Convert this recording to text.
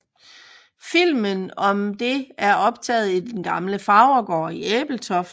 Filmen om det er optaget i den gamle farvergård i Ebeltoft